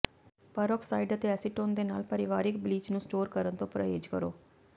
peroxide ਅਤੇ acetone ਦੇ ਨਾਲ ਪਰਿਵਾਰਕ ਬਲੀਚ ਨੂੰ ਸਟੋਰ ਕਰਨ ਤੋਂ ਪਰਹੇਜ਼ ਕਰੋ